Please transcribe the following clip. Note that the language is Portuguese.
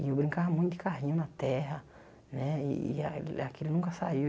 E eu brincava muito de carrinho na terra, né, e e a aquilo nunca saiu.